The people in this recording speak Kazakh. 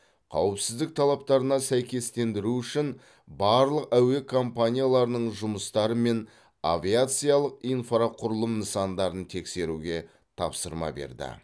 қауіпсіздік талаптарына сәйкестендіру үшін барлық әуе компанияларының жұмыстары мен авиациялық инфрақұрылым нысандарын тексеруге тапсырма берді